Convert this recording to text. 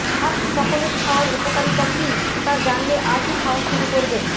hot chocolate খাওয়ার উপকারিতা কী তা জানলে আজই খাওয়া শুরু করবেন